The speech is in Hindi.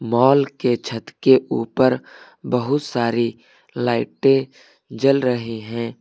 मॉल के छत के ऊपर बहुत सारी लाइटें जल रहे हैं।